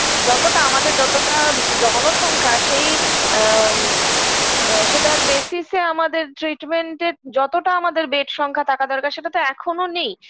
যতটা আমাদের যতটা জনসংখ্যা সেই আ আ সেটার basic -এ আমাদের treatment -এ যতটা আমাদের bed সংখ্যা থাকা দরকার সেটাতো এখোনো নেই